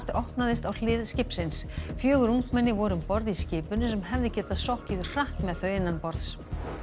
opnaðist á hlið skipsins fjögur ungmenni voru um borð í skipinu sem hefði getað sokkið hratt með þau innanborðs